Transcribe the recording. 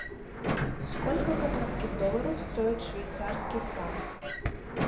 сколько канадских долларов стоит швейцарский франк